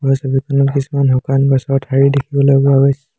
এই ছবিখনত কিছুমান শুকান গছৰ ঠাৰি দেখিবলৈ পোৱা গৈছে।